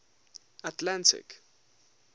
atlantic